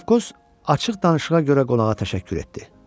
Selevkos açıq danışığa görə qonağa təşəkkür etdi.